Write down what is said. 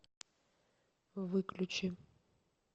выключи